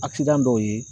dɔw ye